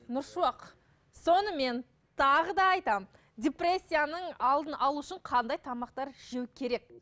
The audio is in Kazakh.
нұршуақ сонымен тағы да айтамын депрессияның алдын алу үшін қандай тамақтар жеу керек